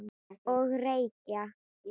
Og reykja.